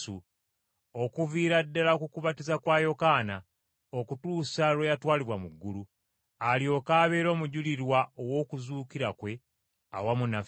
okuviira ddala ku kubatiza kwa Yokaana okutuusa lwe yatwalibwa mu ggulu, alyoke abeere omujulirwa ow’okuzuukira kwe awamu naffe.”